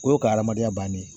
O y'o ka adamadenya bannen ye